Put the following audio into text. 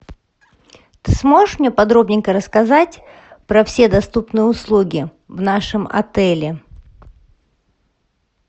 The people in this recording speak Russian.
ты сможешь мне подробненько рассказать про все доступные услуги в нашем отеле